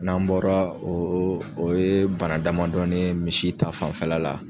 N'an bɔra o o ye bana damadɔni misi ta fanfɛla la